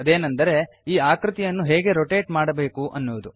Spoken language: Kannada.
ಅದೇನೆಂದರೆ ಈ ಆಕೃತಿಯನ್ನು ಹೇಗೆ ರೋಟೇಟ್ ಮಾಡಬೇಕು ಅಂತ